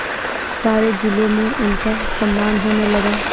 सारे जिले में उनका सम्मान होने लगा